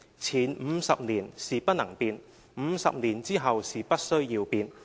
前50年是不能變 ，50 年之後是不需要變。